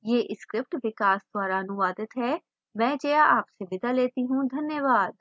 मैं Jaya spoken tutorial team के साथ अब आपसे विदा लेती हूँ हमसे जुड़ने के लिए धन्यवाद